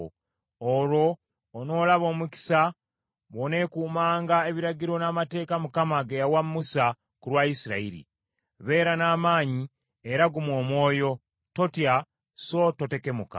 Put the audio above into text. Olwo onoolaba omukisa bw’oneekuumanga ebiragiro n’amateeka Mukama ge yawa Musa ku lwa Isirayiri. Beera n’amaanyi era gguma omwoyo, totya so totekemuka.